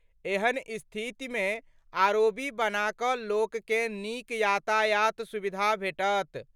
एहन स्थितिमे आरओबी बना कऽ लोककँ नीक यातायात सुविधा भेटत।